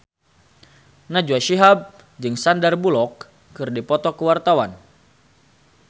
Najwa Shihab jeung Sandar Bullock keur dipoto ku wartawan